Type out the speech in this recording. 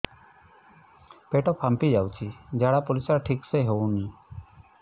ପେଟ ଫାମ୍ପି ଯାଉଛି ଝାଡ଼ା ପରିସ୍ରା ଠିକ ସେ ହଉନି